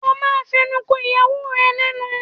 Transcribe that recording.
O ma fẹnu ko ìyàwó ẹ lẹ́nu